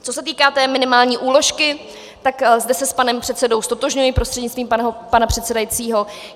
Co se týká té minimální úložky, tak zde se s panem předsedou ztotožňuji prostřednictvím pana předsedajícího.